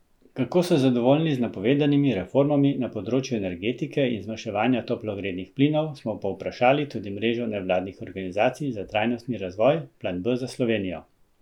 Kako so zadovoljni z napovedanimi reformami na področju energetike in zmanjševanja toplogrednih plinov, smo povprašali tudi mrežo nevladnih organizacij za trajnostni razvoj, Plan B za Slovenijo.